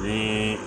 Ni